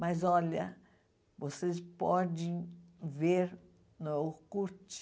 Mas, olha, vocês podem ver no curte.